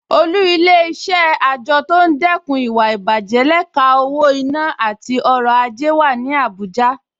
Olú Ilé-iṣẹ́ àjọ tó ń dẹ́kun ìwà ìbàjẹ́ lẹ́ka owó-ìná àti ọrọ̀ ajé wà ní Abuja